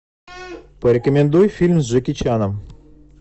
порекомендуй фильм с джеки чаном